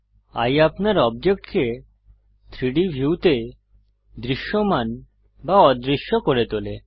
এয়ে আপনার অবজেক্টকে 3ডি ভিউতে দৃশ্যমান বা অদৃশ্য করে তোলে